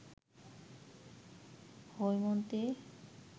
Haimanti